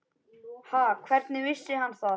Ha, hvernig vissi hann það?